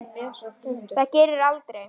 Það gerið þér aldrei.